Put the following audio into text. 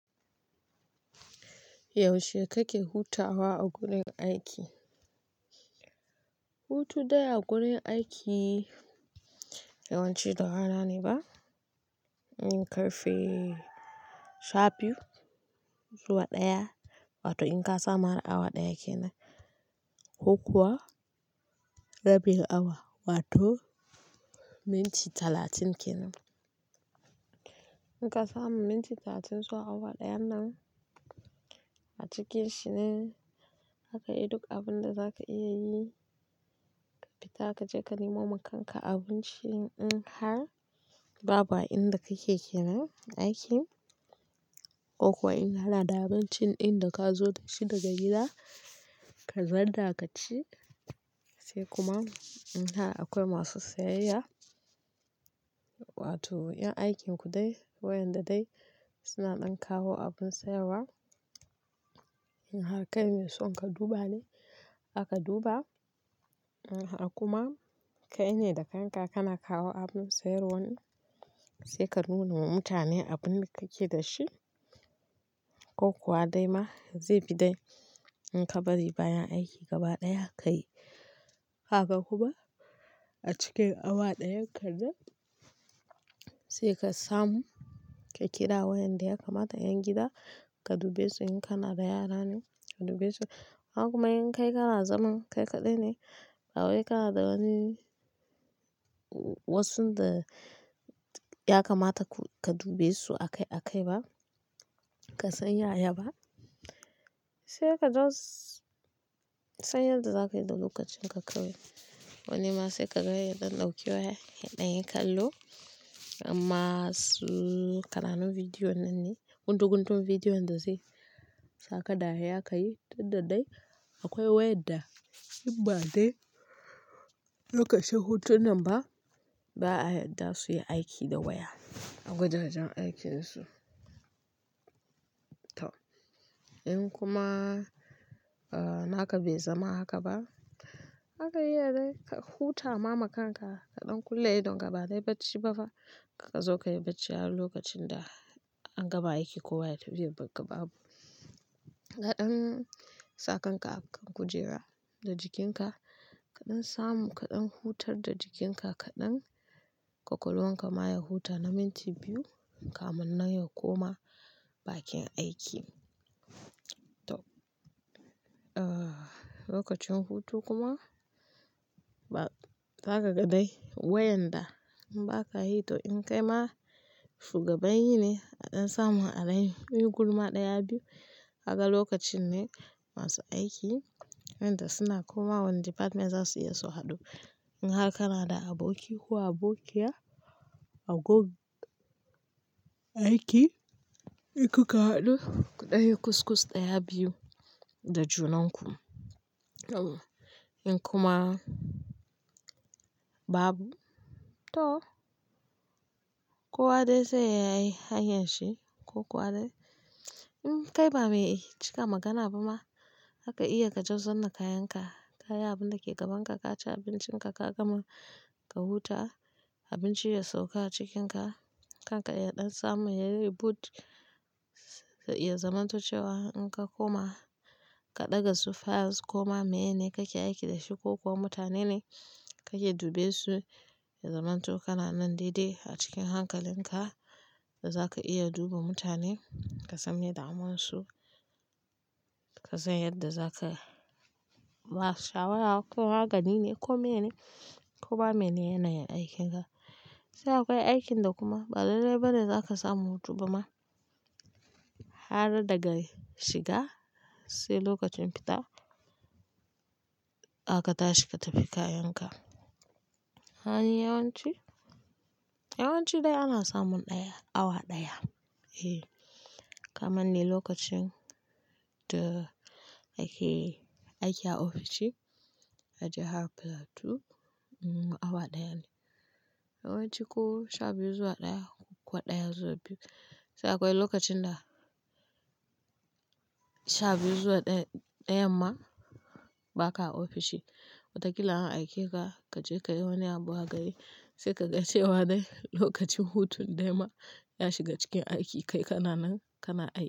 Yaushe kake hutawa a gurin aiki? Hutu dai a gurin aiki yawanci da rana ne ba, in ƙarfe sha biyu zuwa ɗaya wato in ka samu har awa ɗaya ke nan ko kuwa rabin awa wato minti talatin ke nan. In ka samu minti talatin zuwa awa ɗayan nan a cikin shi ne zaka yi duk abin da za ka iya yi, ka fita ka je ka nemo makanka abinci in har babu inda kake ke nan aiki ko kuwa in kana da abincin da ka zo da shi daga gida ka zanna ka ci sai kuma in har akwai masu sayayya wato yan aikin ku dai waƴanda dai suna ɗan kawo abin sayarwa, in har kai mai son ka duba ne zaka duba, in har kuma kai ne da kanka kana kawo abin sayarwan sai ka nuna wa mutane abun da kake da shi ko kuwa dai ma zai fi dai in ka bari bayan aiki gaba ɗaya ka yi. Haka kuma a cikin awa ɗayan ka nan sai ka samu ka kira waƴanda yakamata 'yan gida ka dube su in kana da yara ne ka dubesu inhar kuma in kai kana zanen kai kaɗai ne ba wai kana da wani wassunda yakamata ka dubesu a kai a kai ba ka san yaya ba sai ka just san yadda za ka yi da lokacin ka kawai. Wani ma sai ka ga yaɗan ɗauki waya, yaɗanyi kallo amma su ƙananu video nan ne guntu guntun video inda zai saka dariya ka yi, duk da dai akwai wayan da in ba dai lokacin hutun nan ba ba a yadda su yi aiki da waya a wajajen aikinsu. In kuma naka bai zama haka ba zaka iya dai ka huta ma makanka kaɗan kulle idonka ba dai bacci ba fa kakka zo ka yi bacci har lokacin da an gama aiki ko waya tafi zai baggabu. Kaɗan sa kan ka a kan kujera da jikinka kaɗan samu kaɗan hutar da jikinka kaɗan kwakwalwanka ma ya huta na minti biyu kamunnan ya koma bakin aiki. Lokacin hutu kuma ba zakaga dai waƴanda in ba ka yi to in kai ma shugaban yi ne a ɗan samun alai, in gulma ɗaya biyu kaga lokacin ne masu aiki wayanda suna komawa wanda department za su yi su haɗu. In har kana da aboki ko abokiya a gon aiki, inku ka haɗu ku ɗanyi ƙusƙus ɗaya biyu da junan ku. In kuma babu to kowa dai sai ya yi hanyar shi ko kowa dai in kai ba mai cika magana ba ma zaka iya ka just zanna kayan ka, kayi abun da ke gaban ka, ka ci abincin ka, ka gama ka huta abinci ya sauka a cikinka, kanka ya ɗan samu ya reboot ya zamanto cewa in ka koma ka ɗaga su files ko ma menene kake aiki da shi ko kuwa mutane ne kake dubesu ya zamanto kana nan dai-dai a cikin hankalin ka da za ka iya duba mutane ka san meye damun su, ka san yadda za ka ba shawara ko magani ne ko mene ko ma menene yanayin aikin ka. Sai akwai aikin da kuma ba lallai ba ne za ka samu hutu ba ma har daga shiga sai lokacin fita zaka tashi ka tafi kayan ka. Hayyawanci, yawanci dai ana samun ɗaya awa ɗaya kamanni lokacin da nake aiki a ofishi a jahar Plateau awa ɗaya ne. Yawanci ko sha biyu zuwa ɗaya ko kuwa ɗaya zuwa biyu sai akwai lokacin da sha biyu zuwa ɗaya ɗayan ma ba ka a ofishi watakila an aike ka ka je ka yi wani abu a gari sai ka gacewa dai lokacin hutun dai ma ya shiga cikin aiki kai kana nan kana aiki.